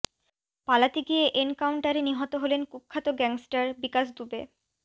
পালাতে গিয়ে এনকাউন্টারে নিহত হলেন কুখ্যাত গ্যাংস্টার বিকাশ দুবে